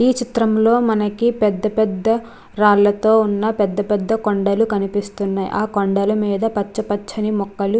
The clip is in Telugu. ఈ చిత్రం లో మనకి పెద్ద పెద్ద రాళ్లతో ఉన్న పెద్ద పెద్ద కొండలు కనిపిస్తున్నాయి ఆ కొండలమీద పచ్చ పచ్చ ని మొక్కలు --